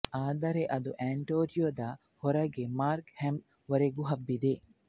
ಆದರೆ ಅದು ಆಂಟೇರಿಯೋದ ಹೊರಗೆ ಮಾರ್ಕ್ ಹಮ್ ವರೆಗೂ ಹಬ್ಬಿದೆ